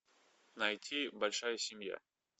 найти большая семья